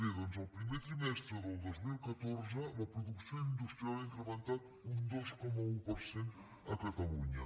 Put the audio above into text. bé doncs el primer trimestre del dos mil catorze la producció industrial ha incrementat un dos coma un per cent a catalunya